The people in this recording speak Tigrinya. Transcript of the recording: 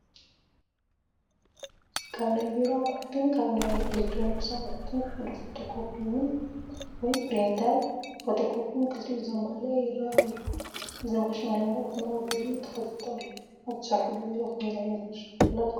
ካብ ናይ ቢሮ ኣቑሑትን ካብ ናይ ኤሌክትሮኒክስ ኣቑሑትን ሓደ ፎቶ ኮፒ ወይ ኘሪንተርን ፎቶኮኘን ክልቲኡ ዘማለአ ይረአ ኣሎ፡፡ እዚ ማሽን ናይ ወረቐት መቐበሊኡ ተኸፊቱ ኣሎ፡፡ ኣብ እትሰርሕሉ ቢሮ ከምዚ ዓይነት ማሽን ኣላትኩም?